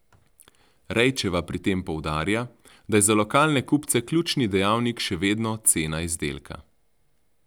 Rejčeva pri tem poudarja, da je za lokalne kupce ključni dejavnik še vedno cena izdelka.